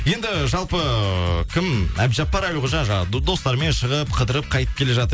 енді жалпы кім әбдіжаппар әлқожа жаңа достармен шығып қыдырып қайтып келе жатыр